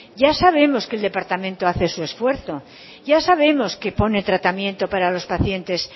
ya sabemos que el departamento hace su esfuerzo ya sabemos que pone tratamiento para los pacientes